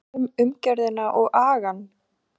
Hvað um umgjörðina og agann?